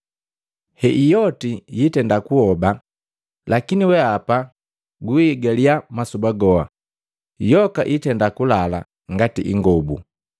Hei yoti yiitenda kuhoba, lakini weapa guiigaliya masoba goha; yoka itenda kulala ngati ingobu.